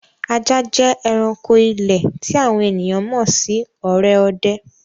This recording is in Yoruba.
Àjà jẹ́ èránkò ilẹ̀ tó àwọn ènìyàn mọ́ sì òré òdẹ́.